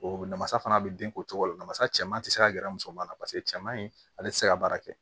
O namasa fana bɛ den ko cogo la na masa cɛman tɛ se ka gɛrɛ musomanin na paseke cɛman in ale tɛ se ka baara kɛ